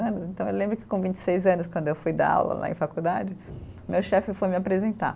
Então eu lembro que com vinte e seis anos, quando eu fui dar aula né, em faculdade, meu chefe foi me apresentar.